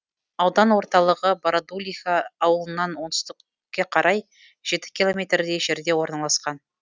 аудан орталығы бородулиха ауылынан оңтүстікке қарай жеті километрдей жерде орналасқан